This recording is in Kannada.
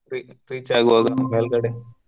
Re~ reach ಆಗುವಾಗ ಮೇಲ್ಗಡೆ.